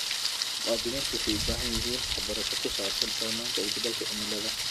Muwaadiniintu waxay u baahan yihiin waxbarasho ku saabsan saamaynta isbeddelka cimilada.